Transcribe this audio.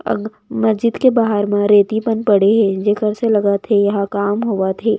अब मस्जिद के बाहर म रेती मन पड़े हे जेकर से लगत हे यहाँ काम होवत हे।